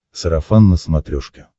сарафан на смотрешке